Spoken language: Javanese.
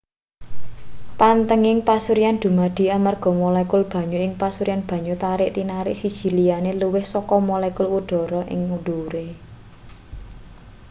panthenging pasuryan dumadi amarga molekul banyu ing pasuryan banyu tarik-tinarik siji liyane luwih saka molekul udhara ing ndhuwure